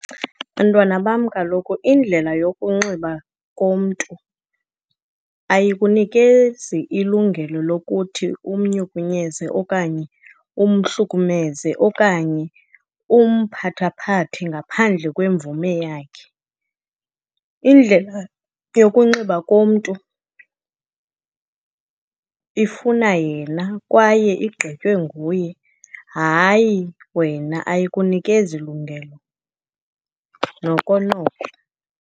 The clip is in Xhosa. Bantwana bam, kaloku indlela yokunxiba komntu ayikunikezi ilungelo lokuthi umnyukunyeze okanye umhlukumeze okanye umphathaphathe ngaphandle kwemvume yakhe. Indlela yokunxiba komntu ifuna yena kwaye igqitywe nguye, hayi wena, ayikunikezi lungelo noko noko.